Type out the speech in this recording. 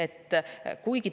Tõepoolest.